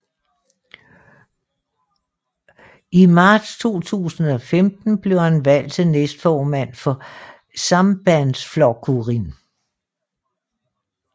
I marts 2015 blev han valgt til næstformand for Sambandsflokkurin